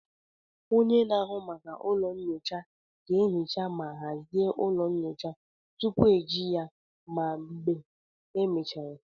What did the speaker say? Onye na-ahụ maka ụlọ nyocha ga-ehicha ma hazie ụlọ nyocha tupu eji ya ma mgbe e mechara